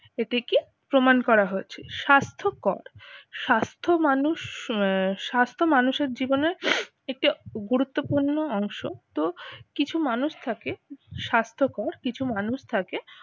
এটিকে প্রমাণ করা হয়েছে। স্বাস্থ্যকর স্বাস্থ্য মানুষ আহ স্বাস্থ্য মানুষের জীবনে একটি গুরুত্বপূর্ণ অংশ, তো কিছু মানুষ থাকে স্বাস্থ্যকর কিছু মানুষ থাকে